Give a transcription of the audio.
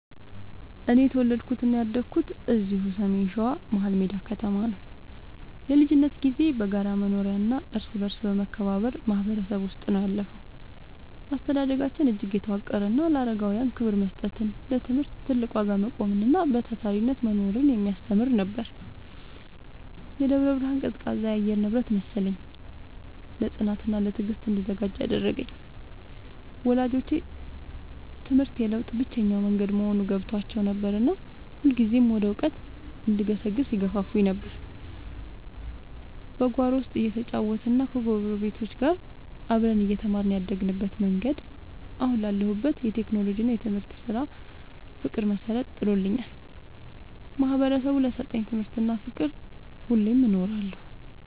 እኔ የተወለድኩትና ያደግኩት እዚሁ በሰሜን ሸዋ፣ መሀልሜዳ ከተማ ነው። የልጅነት ጊዜዬ በጋራ መኖሪያና እርስ በርስ በመከባበር ማህበረሰብ ውስጥ ነው ያለፈው። አስተዳደጋችን እጅግ የተዋቀረና ለአረጋውያን ክብር መስጠትን፣ ለትምህርት ትልቅ ዋጋ መቆምንና በታታሪነት መኖርን የሚያስተምር ነበር። የደብረ ብርሃን ቀዝቃዛ የአየር ንብረት መሰለኝ፣ ለጽናትና ለትዕግስት እንድዘጋጅ ያደረገኝ። ወላጆቼ ትምህርት የለውጥ ብቸኛው መንገድ መሆኑን ገብቷቸው ነበርና ሁልጊዜም ወደ እውቀት እንድገሰግስ ይገፋፉኝ ነበር። በጓሮ ውስጥ እየተጫወትንና ከጎረቤቶች ጋር አብረን እየተማርን ያደግንበት መንገድ፣ አሁን ላለሁበት የቴክኖሎጂና የትምህርት ስራ ፍቅር መሰረት ጥሎልኛል። ማህበረሰቡ ለሰጠኝ ትምህርትና ፍቅር ሁሌም እኖራለሁ።